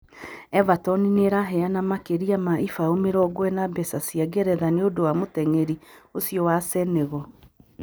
Everton nĩ ĩraheana makĩria ma ibaū mĩrongo ĩna mbeca cia Ngeretha nĩ ũndũ wa mũteng'eri ūcio wa Senegal.